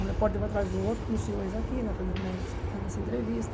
Um repórter vai atrás do outro, como os senhores aqui, nessa entrevista.